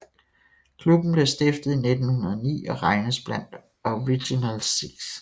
Klubben blev stiftet i 1909 og regnes blandt Original Six